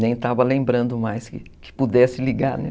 Nem estava lembrando mais que que pudesse ligar, né?